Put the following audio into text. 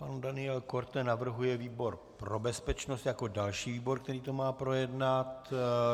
Pan Daniel Korte navrhuje výbor pro bezpečnost jako další výbor, který to má projednat.